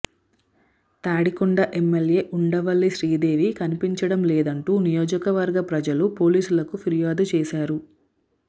Tadikonda MLA Undavalli Sridevi కనిపించడం లేదంటూ నియోజకవర్గ ప్రజలు పోలీసులకు ఫిర్యాదు చేశారు